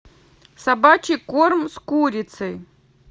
собачий корм с курицей